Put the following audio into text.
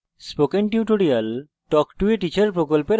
spoken tutorial talk to a teacher প্রকল্পের অংশবিশেষ